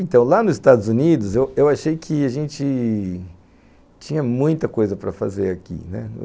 Então, lá nos Estados Unidos, eu eu achei que a gente tinha muita coisa para fazer aqui, né.